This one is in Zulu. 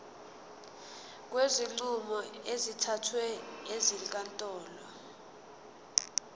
kwezinqumo ezithathwe ezinkantolo